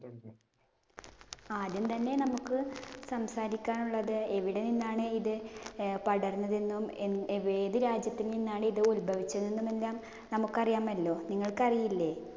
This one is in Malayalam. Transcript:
ആദ്യം തന്നെ നമുക്ക് സംസാരിക്കാനുള്ളത് എവിടെ നിന്നാണ് ഇത് പടര്‍ന്നത് എന്നും, ഏതു രാജ്യത്ത് നിന്നാണ് ഇത് ഉത്ഭവിച്ചത് എന്നും എല്ലാം നമുക്കറിയാമല്ലോ. നിങ്ങള്‍ക്ക് അറിയില്ലേ?